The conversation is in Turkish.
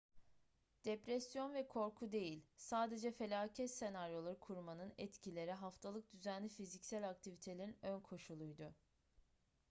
depresyon ve korku değil sadece felaket senaryoları kurmanın etkileri haftalık düzenli fiziksel aktivitelerin önkoşuluydu